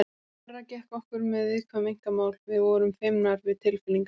Verra gekk okkur með viðkvæm einkamál, við vorum feimnar við tilfinningar.